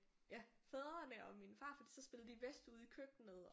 Fædrene og min farfar så spillede de vi Whist ude i køkkenet